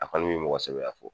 A kɔni b'i mɔgɔsɛbɛya fɔ